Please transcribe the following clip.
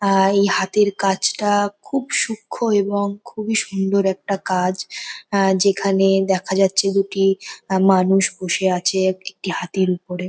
আহ এই হাতির কাজটা খুব সূক্ষ্ম এবং খুব ই সুন্দর একটা কাজ যেখানে দেখা যাচ্ছে দুটি মানুষ বসে আছে একটি হাতির ওপরে।